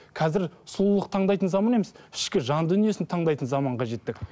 қазір сұлулық таңдайтын заман емес ішкі жан дүниесін таңдайтын заманға жеттік